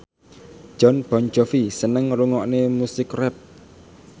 Jon Bon Jovi seneng ngrungokne musik rap